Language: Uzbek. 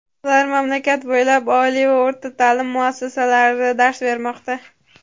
Ular mamlakat bo‘ylab oliy va o‘rta ta’lim muassasalarida dars bermoqda.